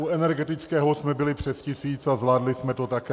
U energetického jsme byli přes tisíc a zvládli jsme to také.